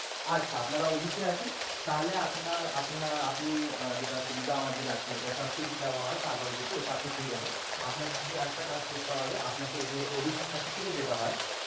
আচ্ছা আপনারা OBC আছেন তাহলে আপনারা আপনি আহ যেটা সুবিধা আমাদের আছে এটা subsidy দেওয়া হয় ওটা আপনি পেয়ে যাবেন আপনাকে শুধু একটা কাজ করতে হবে আপনাকে OBC certificate যেটা হয়